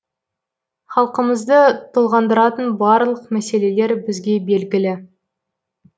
халқымызды толғандыратын барлық мәселелер бізге белгілі